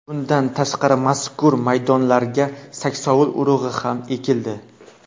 Bundan tashqari, mazkur maydonlarga saksovul urug‘i ham ekildi.